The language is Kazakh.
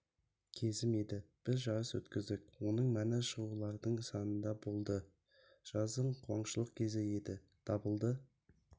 кезім еді біз жарыс өткіздік оның мәні шығулардың санында болды жаздың қуаншылық кезеңі еді дабылды